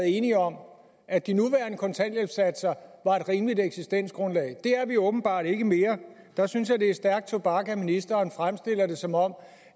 enige om at de nuværende kontanthjælpssatser var et rimeligt eksistensgrundlag det er vi åbenbart ikke mere der synes jeg det er stærk tobak at ministeren fremstiller det som om